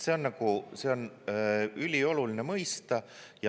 See on ülioluline mõista.